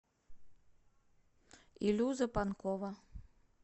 илюза панкова